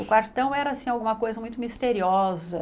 O quartão era assim alguma coisa muito misteriosa.